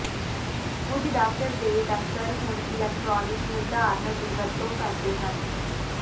ਕੁਝ ਡਾਕਟਰ ਦੇ ਦਫ਼ਤਰ ਹੁਣ ਇਲੈਕਟ੍ਰਾਨਿਕ ਨਿਰਧਾਰਨ ਦੀ ਵਰਤੋਂ ਕਰਦੇ ਹਨ